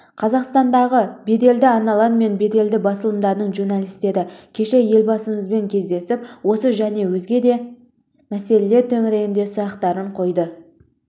қазақстандағы белді арналар мен беделді басылымдардың журналистері кеше елбасымен кездесіп осы және өзге де өзекті мәселелер төңігеріндегі сұрақтарын қойды